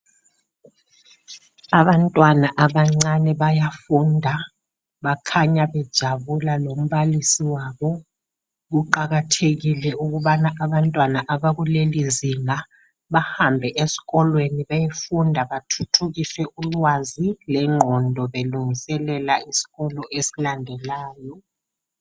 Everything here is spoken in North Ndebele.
Abantwana abacane bayafunda bakhanya bejabula lombalisi wabo kuqakathekile ukubana abantwana abakuleli nzinga bahambe esikolweni beyefunda bathuthukise ulwazi lengqondo belungiselela isifundo esilandelayo.